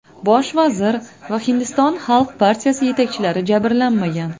Bosh vazir va Hindiston xalq partiyasi yetakchilari jabrlanmagan.